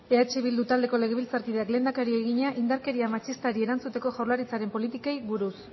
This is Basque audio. eh bildu taldeko legebiltzarkideak lehendakariari egina indarkeria matxistari erantzuteko jaurlaritzaren politikei buruz